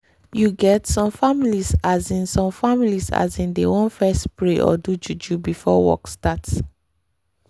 you get some families asin some families asin dey want fess pray or do juju before work start